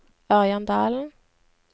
Ørjan Dalen